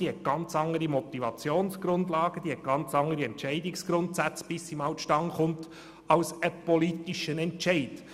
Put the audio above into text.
Bis sie einmal zustande kommt, liegen ihr komplett andere Motivationsgrundlagen und Entscheidungsgrundsätze zugrunde als einem politischen Entscheid.